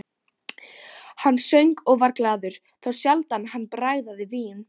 Hann söng og var glaður, þá sjaldan hann bragðaði vín.